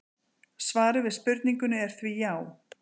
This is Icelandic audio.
svarið við spurningunni er því já!